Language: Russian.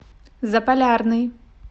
заполярный